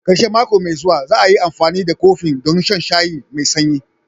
Ƙarshen mako mai zuwa, za'ai amfani da kofin don shan shayi me sanyi.